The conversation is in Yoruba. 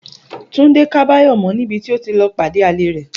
Túndé ká Báyò̩ mó̩ níbi tí o ti lo̩ pàdé àlè rè̩